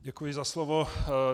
Děkuji za slovo.